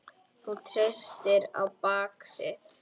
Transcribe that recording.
Hún treysti á bak sitt.